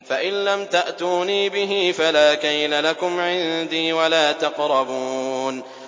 فَإِن لَّمْ تَأْتُونِي بِهِ فَلَا كَيْلَ لَكُمْ عِندِي وَلَا تَقْرَبُونِ